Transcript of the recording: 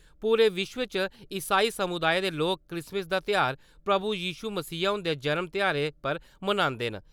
पूरे विश्व इच ईसाई समुदाए दे लोक क्रिसमिस दा त्यौहार प्रभु यशु मसीह हुन्दे जनम ध्याड़ै पर मनांदे न।